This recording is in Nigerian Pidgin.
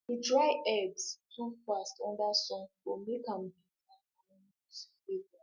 to dry herbs too fast under sun go make am bitter and lose flavour